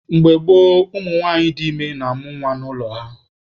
Mgbe gboo, ụmụ nwanyị dị ime na-amụ nwa n'ụlọ ha.